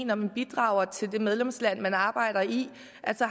når man bidrager til det medlemsland man arbejder i